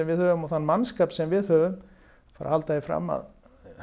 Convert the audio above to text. við höfum og þann mannskap sem að við höfum að halda því fram að